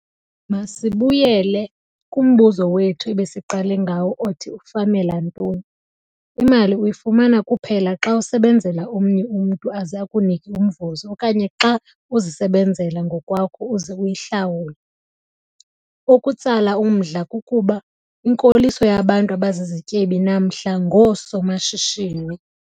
Masibuyele kumbuzo wethu ebesiqale ngawo othi ufamela ntoni? Imali uyifumana kuphela xa usebenzela omnye umntu aze akunike umvuzo okanye xa uzisebenzela ngokwakho uze uyihlawule. Okutsala umdla kukuba, inkoliso yabantu abazizityebi namhla ngoosomashishini.